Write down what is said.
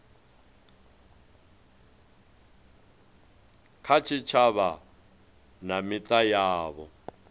kha tshitshavha na mita yavho